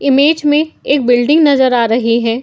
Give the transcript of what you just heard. Image में एक building नजर आ रही है।